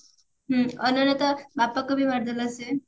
ହୁଁ ଅନନ୍ୟା ତା ବାପାକୁ ବି ମାରିଦେଲା ସେ